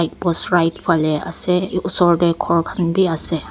post right fale ase oshor teh ghor khan be ase.